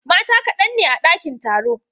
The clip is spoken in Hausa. Mata kadan ne a dakin taro.